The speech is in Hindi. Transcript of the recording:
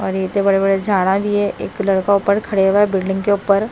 और इतनी बड़े बड़े झाडा भी है। एक लड़का पर खड़े हुए बिल्डिंग के ऊपर--